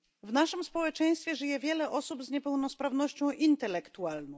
W naszym społeczeństwie żyje wiele osób z niepełnosprawnością intelektualną.